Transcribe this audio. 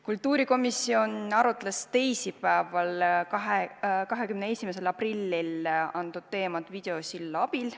Kultuurikomisjon arutles teisipäeval, 21. aprillil, antud teema üle videosilla abil.